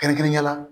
Kɛrɛnkɛrɛnnenya la